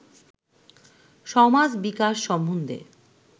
সমাজ-বিকাশ সম্বন্ধে